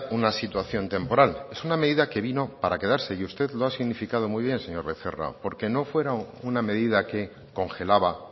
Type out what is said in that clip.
una situación temporal es una medida que vino para quedarse y usted lo ha significado muy bien señor becerra porque no fue una medida que congelaba